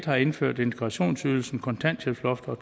har indført integrationsydelsen kontanthjælpsloftet og